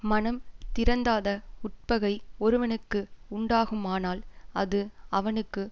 மனம் திறந்தாத உட்பகை ஒருவனுக்கு உண்டாகுமானால் அது அவனுக்கு